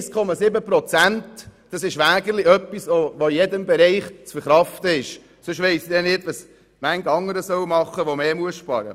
1,7 Prozent sind wirklich in jedem Bereich zu verkraften, sonst weiss ich nicht, was viele andere tun sollen, die noch mehr sparen müssen.